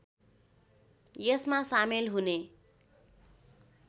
यसमा सामेल हुने